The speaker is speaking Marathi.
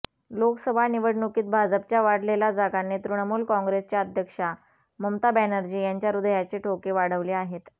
लोकसभा निवडणुकीत भाजपच्या वाढलेला जागांनी तृणमूल काँग्रेसच्या अध्यक्षा ममता बॅनर्जी यांच्या हृदयाचे ठोके वाढवले आहेत